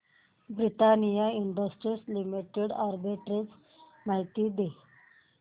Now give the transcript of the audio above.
Britannia industries limited arbitrage माहिती दे